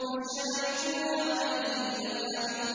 فَشَارِبُونَ عَلَيْهِ مِنَ الْحَمِيمِ